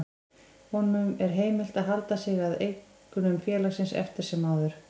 Honum er heimilt að halda sig að eignum félagsins eftir sem áður.